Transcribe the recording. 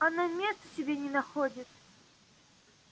она места себе не находит